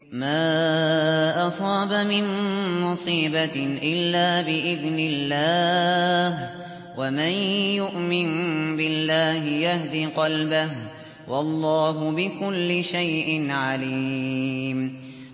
مَا أَصَابَ مِن مُّصِيبَةٍ إِلَّا بِإِذْنِ اللَّهِ ۗ وَمَن يُؤْمِن بِاللَّهِ يَهْدِ قَلْبَهُ ۚ وَاللَّهُ بِكُلِّ شَيْءٍ عَلِيمٌ